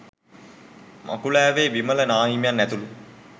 මකුලෑවේ විමල නාහිමියන් ඇතුළු